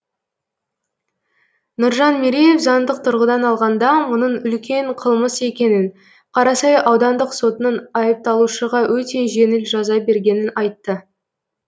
нұржан мереев заңдық тұрғыдан алғанда мұның үлкен қылмыс екенін қарасай аудандық сотының айыпталушыға өте жеңіл жаза бергенін айтты